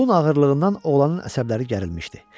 Yolun ağırlığından oğlanın əsəbləri gərilmişdi.